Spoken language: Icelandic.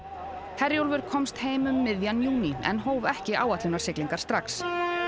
Herjólfur komst heim um miðjan júní en hóf ekki áætlunarsiglingar strax